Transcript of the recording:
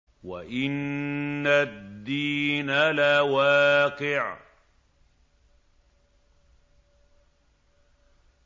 وَإِنَّ الدِّينَ لَوَاقِعٌ